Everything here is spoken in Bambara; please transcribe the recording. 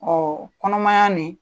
Ɔn kɔnɔmaya nin